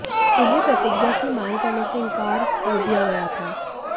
उन्हें प्रतिज्ञा की मांग करने से इनकार कर दिया गया था